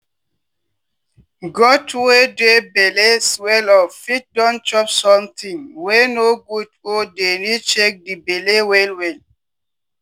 goat wey dere belle swell up fit don chop sometin wey no good or dey need check di belle well well.